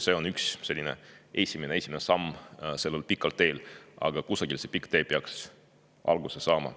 See on esimene samm sellel pikal teel, aga kusagilt peaks see pikk tee ju alguse saama.